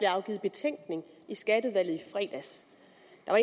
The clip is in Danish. afgivet betænkning i skatteudvalget i fredags